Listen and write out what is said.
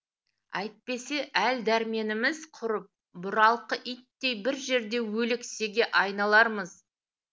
әйтпесе әл дәрменіміз құрып бұралқы иттей бір жерде өлексеге айналармыз